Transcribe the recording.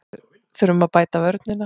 Þurfum að bæta vörnina